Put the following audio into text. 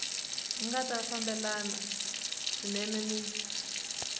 nga ta fambelana swinene ni